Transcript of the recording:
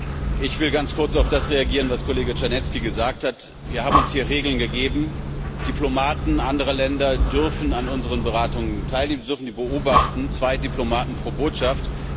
Herr Präsident! Ich will ganz kurz auf das reagieren, was Kollege Czarnecki gesagt hat. Wir haben uns hier Regeln gegeben Diplomaten anderer Länder dürfen an unseren Beratungen teilnehmen, sie dürfen sie beobachten zwei Diplomaten pro Botschaft.